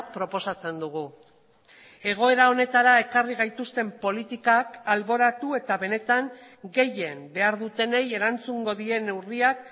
proposatzen dugu egoera honetara ekarri gaituzten politikak alboratu eta benetan gehien behar dutenei erantzungo dien neurriak